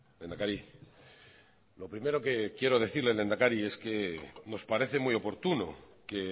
lehendakari lo primero que quiero decirle lehendakari es que nos parece muy oportuno que